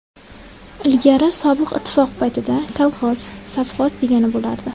Ilgari sobiq ittifoq paytida kolxoz, sovxoz degani bo‘lardi.